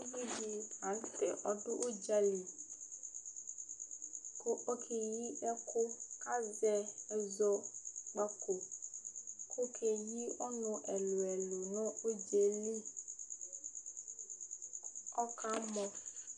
Ʋvidí la ntɛ ɔdu ʋdzali kʋ ɔkeyi ɛku kʋ azɛ ɛzɔkpako kʋ ɔkeyi ɔnu ɛlu ɛlu nʋ ʋdzaɛli Ɔkamɔ!